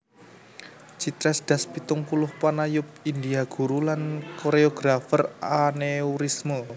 Chitresh Das pitung puluh panayub India guru lan koréografer aneurisme